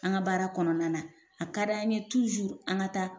An ka baara kɔnɔna na ,a ka d'an ye an ka taa